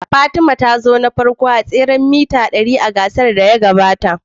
Fatima ta zo na farko a tseren mita dari a gasar wasannin gida na shekarar da ta gabata.